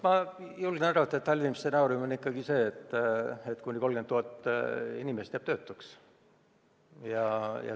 Ma julgen arvata, et halvim stsenaarium on ikkagi see, et kuni 30 000 inimest jääb töötuks.